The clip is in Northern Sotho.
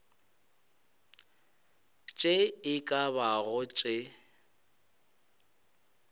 tše e ka bago tše